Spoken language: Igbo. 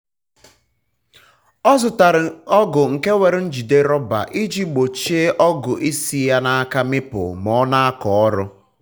ọ zụtara ọgụ nke nwere njide rọba iji gbochie ọgụ isi ya na aka mịpụ ma ọ na-akọ orụ